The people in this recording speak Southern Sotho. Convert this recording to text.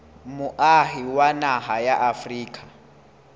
moahi wa naha ya afrika